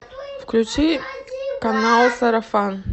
включи канал сарафан